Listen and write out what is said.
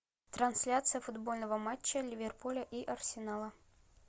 трансляция футбольного матча ливерпуля и арсенала